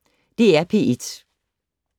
DR P1